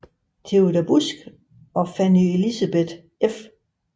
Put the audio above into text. Theodor Busck og Fanny Elisabeth f